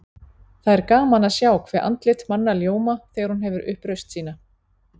Það er gaman að sjá hve andlit manna ljóma þegar hún hefur upp raust sína.